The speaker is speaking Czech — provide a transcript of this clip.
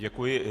Děkuji.